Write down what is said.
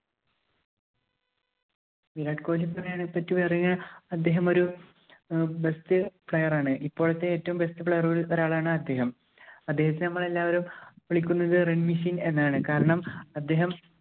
വിരാട് കോഹിലിയെ പറ്റി പറയുകയാ~പറഞ്ഞാല്‍ അദ്ദേഹം ഒരു best player ആണ്. ഇപ്പോഴത്തെ ഏറ്റവും best player കളില്‍ ഒരാളാണ് അദ്ദേഹം. അദ്ദേഹത്തെ നമ്മള്‍ എല്ലാവരും വിളിക്കുന്നത് run machine എന്നാണ്. കാരണം, അദ്ദേഹം